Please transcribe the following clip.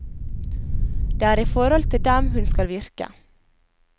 Det er i forhold til dem hun skal virke.